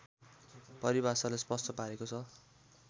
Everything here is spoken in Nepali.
परिभाषाले स्पष्ट पारेको छ